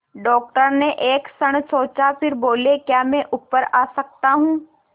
doctor ने एक क्षण सोचा फिर बोले क्या मैं ऊपर आ सकता हूँ